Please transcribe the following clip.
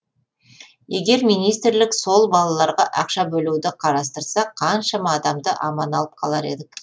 егер министрлік сол балаларға ақша бөлуді қарастырса қаншама адамды аман алып қалар едік